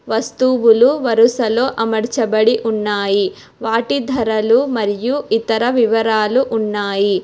వస్తువులు వరుసలో అమర్చబడి ఉన్నాయి వాటి ధరలు మరియు ఇతర వివరాలు ఉన్నాయి.